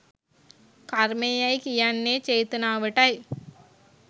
කර්මය යැයි කියන්නේ චේතනාවටයි.